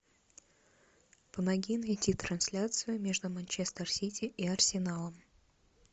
помоги найти трансляцию между манчестер сити и арсеналом